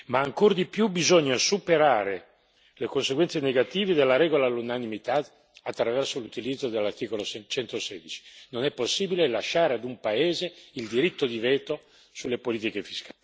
Ma ancor di più, bisogna superare le conseguenze negative della regola dell'unanimità attraverso l'utilizzo dell'articolo 116 non è possibile lasciare ad un paese il diritto di veto sulle politiche fiscali.